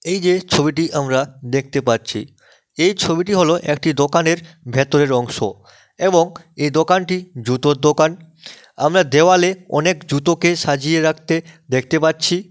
এই যে ছবিটি আমরা দেখতে পাচ্ছি এই ছবিটি হল একটি দোকানের ভেতরের অংশ এবং এ দোকানটি জুতোর দোকান আমরা দেওয়ালে অনেক জুতোকে সাজিয়ে রাখতে দেখতে পাচ্ছি।